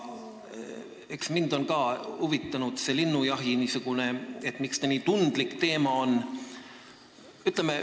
Eks mind on ka huvitanud, miks see linnujaht nii tundlik teema on.